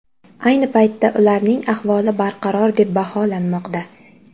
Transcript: Ayni paytda ularning ahvoli barqaror deb baholanmoqda.